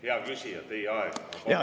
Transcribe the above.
Hea küsija, teie aeg!